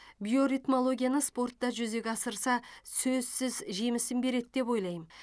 биоритмологияны спортта жүзеге асырса сөзсіз жемісін береді деп ойлаймын